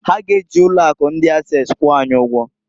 Ha g'eji ụlọ akụ ndi Ases kwụọ anyị ụgwọ.